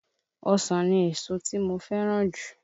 Ọsàn ni èso tí mo fẹ́ràn jù